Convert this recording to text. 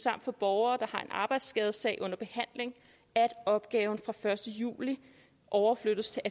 og for borgere der har en arbejdsskadesag under behandling at opgaven fra den første juli overflyttes til